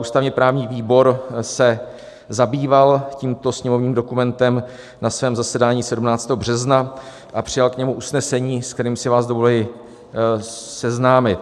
Ústavně-právní výbor se zabýval tímto sněmovním dokumentem na svém zasedání 17. března a přijal k němu usnesení, s kterým si vás dovoluji seznámit.